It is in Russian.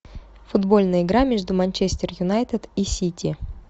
футбольная игра между манчестер юнайтед и сити